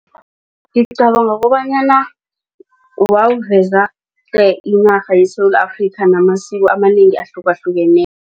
Ngicabanga kobanyana wawuveza tle inarha yeSewula Afrika namasiko amanengi